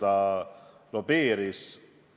Kes lobitööd tegi?